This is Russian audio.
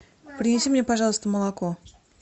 принеси мне пожалуйста молоко